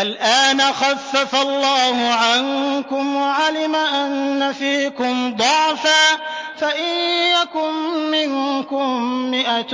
الْآنَ خَفَّفَ اللَّهُ عَنكُمْ وَعَلِمَ أَنَّ فِيكُمْ ضَعْفًا ۚ فَإِن يَكُن مِّنكُم مِّائَةٌ